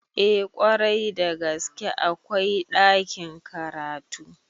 Eh kwarai da gaske akwai ɗakin karatu